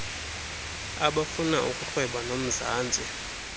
abafuna ukurhweba nomzantsi